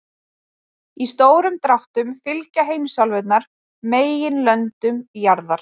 Í stórum dráttum fylgja heimsálfurnar meginlöndum jarðar.